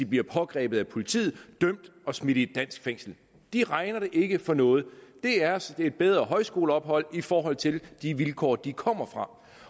blive pågrebet af politiet dømt og smidt i et dansk fængsel de regner det ikke for noget det er som et bedre højskoleophold i forhold til de vilkår de kommer